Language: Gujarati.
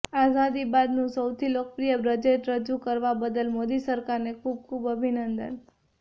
આઝાદી બાદનું સૌથી લોકપ્રિય બજેટ રજુ કરવા બદલ મોદી સરકારને ખુબ ખુબ અભિનંદન